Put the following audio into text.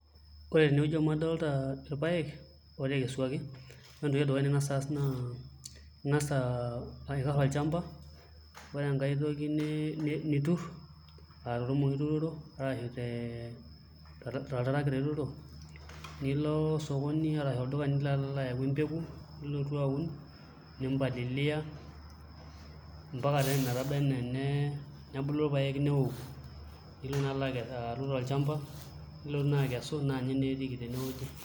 Ore tenewueji amu adolta irpaek ootekesuaki ore entoki ning'as aas naa ing'as aikarr olchamba, ore enkae toki niturr aa tormong'i ituturo arashu te oltarakita ituturo nilo osokoni arash olduka nilo alo ayau empeku nilotu aun nimpalilia mpaka naa ometabai enaa enebulu irpaek neoku, nilo naa aaru tolchamba nilotu naa akesu naa ninye etiiki naa tenewueji.